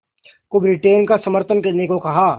को ब्रिटेन का समर्थन करने को कहा